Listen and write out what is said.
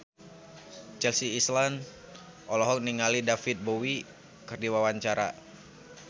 Chelsea Islan olohok ningali David Bowie keur diwawancara